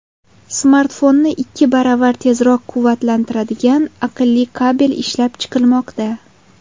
Smartfonni ikki baravar tezroq quvvatlantiradigan aqlli kabel ishlab chiqilmoqda.